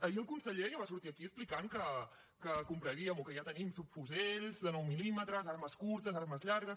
ahir el conseller ja va sortir aquí explicant que compraríem o que ja tenim subfusells de nou mil·límetres armes curtes armes llargues